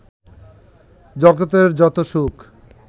জগতের যত সুখ